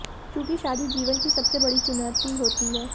चूंकि शादी जीवन की सबसे बड़ी चुनौती होती है